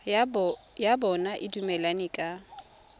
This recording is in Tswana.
ya bona e dumelaneng ka